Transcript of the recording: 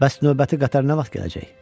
Bəs növbəti qatar nə vaxt gələcək?